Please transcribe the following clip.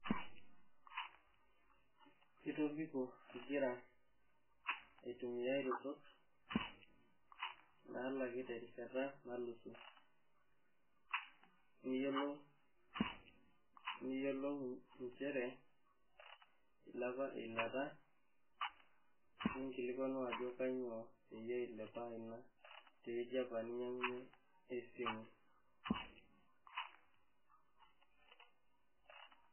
Itobiko ingira aitumia iretot naalaki terishata nalusu niyewuo niyiolou inchere eilepa eilata . inkilikwanu ajo kainyioo peyie ilepa ina te wueji apa ninyangunyie esimu.